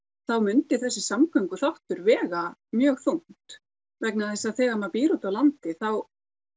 þá myndi þessi vega mjög þungt vegna þess að þegar maður býr úti á landi þá